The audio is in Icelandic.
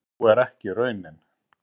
sú er ekki raunin